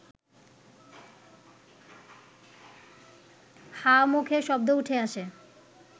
হাঁ মুখে শব্দ উঠে আসে